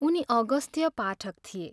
उनी अगस्त्य पाठक थिए।